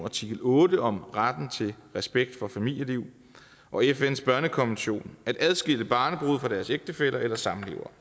artikel otte om retten til respekt for familieliv og fns børnekonvention at adskille barnebrude fra deres ægtefæller eller samlevere